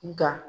Nka